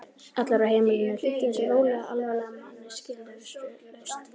Allir á heimilinu hlýddu þessum rólega, alvarlega manni skilyrðislaust.